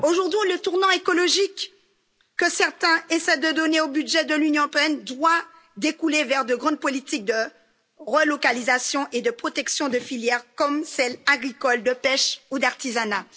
Aujourd'hui, le tournant écologique que certains essaient de donner au budget de l'Union européenne doit découler vers de grandes politiques de relocalisation et de protection des filières, comme les filières agricoles, de la pêche ou de l'artisanat.